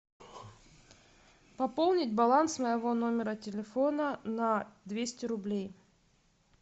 пополнить баланс моего номера телефона на двести рублей